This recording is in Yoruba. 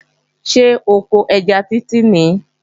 Ṣé oko ẹja Títí nìí?